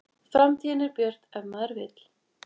Framtíðin er björt ef maður vill